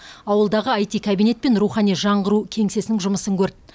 ауылдағы аити кабинет пен рухани жаңғыру кеңсесінің жұмысын көрді